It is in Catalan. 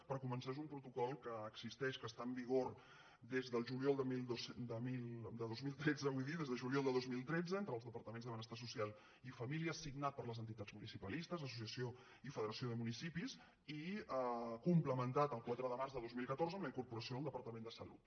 per començar és un protocol que existeix que està en vigor des del juliol de dos mil tretze entre els departaments de benestar social i família signat per les entitats municipalistes l’associació i federació de municipis i complementat el quatre de març de dos mil catorze amb la incorporació del departament de salut